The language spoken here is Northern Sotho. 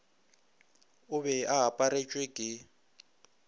o be a aparetšwe ke